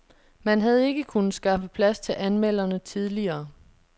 Man havde ikke kunnet skaffe plads til anmelderne tidligere.